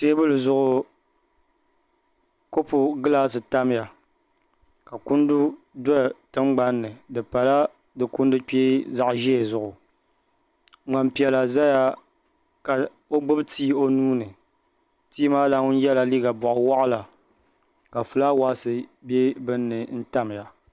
teebuli zuɣu kopu gilaasi tamya ka kundu do tiŋgbani ni di pala di kundu kpee zaɣ' ʒee zuɣu ŋmani piɛla zaya ka o gbubi tii o nuu ni tii maa lana yɛla liiga bɔɣiwaɣila ka fulaawaasi be bini ni n-tamya